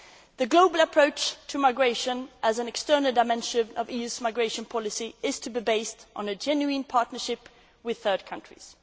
Egypt. The Global Approach to Migration, as an external dimension of the EU's migration policy, is to be based on a genuine partnership with third countries.